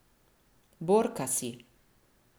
Borka si.